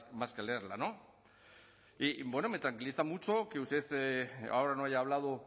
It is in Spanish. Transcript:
más que leerla y bueno me tranquiliza mucho que usted ahora no haya hablado